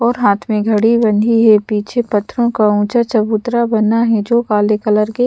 और हाथ में घड़ी बंधी है पीछे पत्थरों का ऊंचा चबूतरा बना है जो काले कलर के--